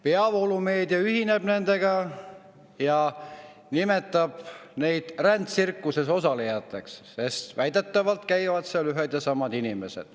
Peavoolumeedia ühineb nendega ja nimetab neid rändtsirkuses osalejateks, sest väidetavalt käivad ühed ja samad inimesed.